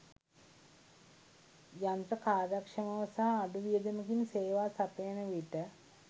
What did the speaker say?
යන්ත්‍ර කාර්යක්ෂමව සහ අඩු වියදමකින් සේවා සපයන විට